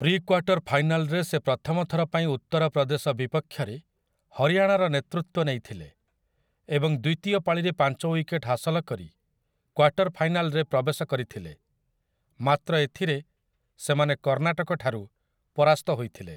Pre-quarter ଫାଇନାଲରେ ସେ ପ୍ରଥମ ଥର ପାଇଁ ଉତ୍ତର ପ୍ରଦେଶ ବିପକ୍ଷରେ ହରିୟାଣାର ନେତୃତ୍ୱ ନେଇଥିଲେ ଏବଂ ଦ୍ୱିତୀୟ ପାଳିରେ ପାଞ୍ଚ ୱିକେଟ୍ ହାସଲ କରି କ୍ୱାର୍ଟର୍ ଫାଇନାଲରେ ପ୍ରବେଶ କରିଥିଲେ, ମାତ୍ର ଏଥିରେ ସେମାନେ କର୍ଣ୍ଣାଟକଠାରୁ ପରାସ୍ତ ହୋଇଥିଲେ ।